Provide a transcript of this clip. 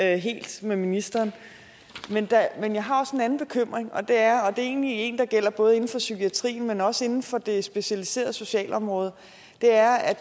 jeg helt med ministeren men jeg har også en anden bekymring det er egentlig en der gælder både inden for psykiatrien men også inden for det specialiserede socialområde det er at